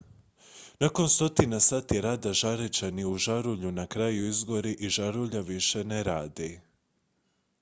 nakon stotina sati rada žareća nit u žarulji na kraju izgori i žarulja više ne radi